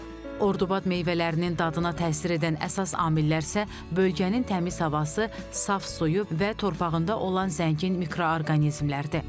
Ordubad meyvələrinin dadına təsir edən əsas amillər isə bölgənin təmiz havası, saf suyu və torpağında olan zəngin mikroorqanizmlərdir.